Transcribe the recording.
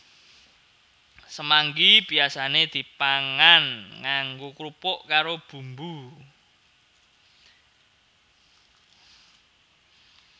Semanggi biyasane dipangan nganggo krupuk karo bumbu